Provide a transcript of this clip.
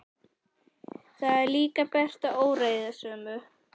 Það er líka bert að óreiðusamir